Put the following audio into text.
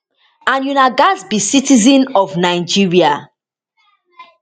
and una gatz be citizen of nigeria